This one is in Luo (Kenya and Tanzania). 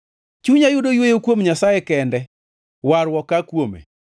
Chunya yudo yweyo kuom Nyasaye kende; warruok aa kuome.